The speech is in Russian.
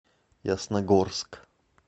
ясногорск